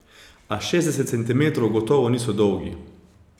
A šestdeset centimetrov gotovo niso dolgi.